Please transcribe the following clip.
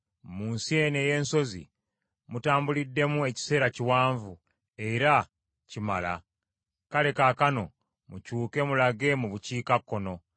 “Mu nsi eno ey’ensozi mutambuliddemu ekiseera kiwanvu, era kimala; kale kaakano mukyuke mulage mu bukiikakkono.